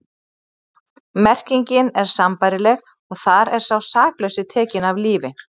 Merkingin er sambærileg og þar er sá saklausi tekinn af lífi.